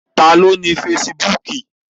Taàní ó ní ìkànnì onífarakínra fésííbùùkù?